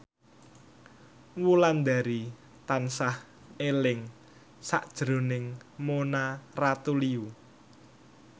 Wulandari tansah eling sakjroning Mona Ratuliu